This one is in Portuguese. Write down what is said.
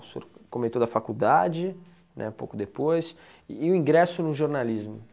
O senhor comentou da faculdade, né, pouco depois, e o ingresso no jornalismo.